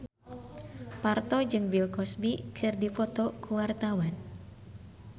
Parto jeung Bill Cosby keur dipoto ku wartawan